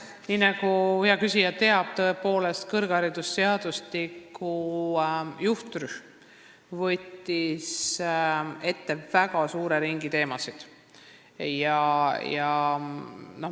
Nii nagu hea küsija teab, võttis kõrgharidusseadustiku juhtrühm tõepoolest ette väga suure teemade ringi.